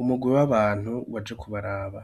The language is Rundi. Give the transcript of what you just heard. umugwi w'abantu waje kubaraba.